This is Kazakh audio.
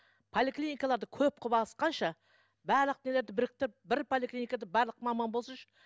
поликлиникаларды көп қылып ашқанша барлық нелерді біріктіріп бір поликлиникада барлық маман болсыншы